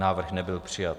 Návrh nebyl přijat.